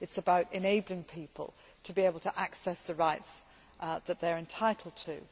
it is about enabling people to be able to access the rights that they are entitled to.